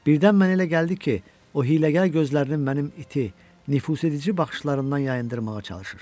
Birdən mənə elə gəldi ki, o hiyləgər gözlərini mənim iti, nüfuzedici baxışlarımdan yayındırmağa çalışır.